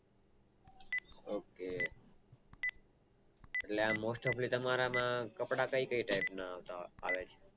OK એટલે most topali તમારા માં કપડાં કઈ કઈ Type ના આવે